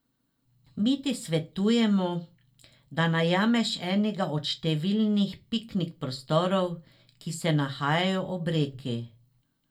Mi ti svetujemo, da najameš enega od številnih piknik prostorov, ki se nahajajo ob reki.